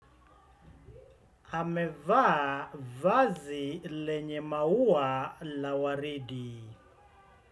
Amevaa vazi lenye maua la waridi.